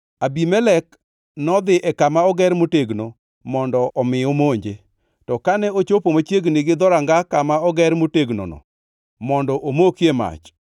Abimelek nodhi e kama oger motegnono mondo omi omonje. To kane ochopo machiegni gi dhoranga kama oger motegnono mondo omokie mach,